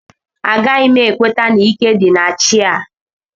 Agaghị m ekweta na ike dị na chi a